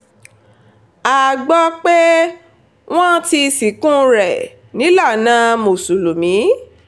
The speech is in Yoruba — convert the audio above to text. a gbọ́ pé wọ́n ti sìnkú rẹ̀ nílànà mùsùlùmí